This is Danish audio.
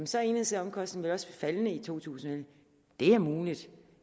så er enhedsomkostningen vel også faldende i 2011 det er muligt